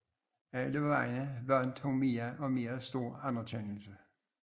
Alle vegne vandt hun mere og mere stor anerkendelse